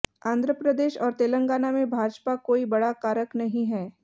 आंध्र प्रदेश और तेलंगाना में भाजपा कोई बड़ा कारक नहीं है